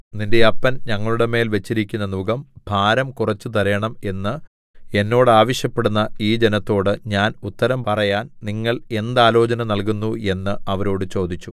നിന്റെ അപ്പൻ ഞങ്ങളുടെമേൽ വെച്ചിരിക്കുന്ന നുകം ഭാരം കുറെച്ചു തരേണം എന്ന് എന്നോട് ആവശ്യപ്പെടുന്ന ഈ ജനത്തോട് ഞാൻ ഉത്തരം പറയാൻ നിങ്ങൾ എന്താലോചന നൽകുന്നു എന്ന് അവരോട് ചോദിച്ചു